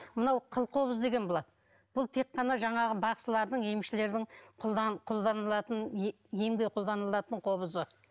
мынау қылқобыз деген болады бұл тек қана жаңағы бақсылардың емшілердің қолданылатын емге қолданылатын қобызы